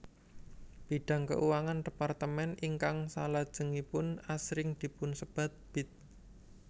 Bidang keuangan departemen ingkang salajengipun asring dipunsebat Bid